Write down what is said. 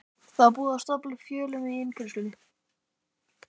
Það var búið að stafla upp fjölum í innkeyrslunni.